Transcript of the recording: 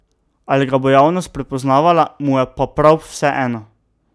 Ali ga bo javnost prepoznavala, mu je pa prav vseeno.